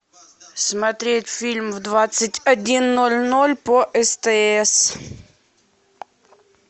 смотреть фильм в двадцать один ноль ноль по стс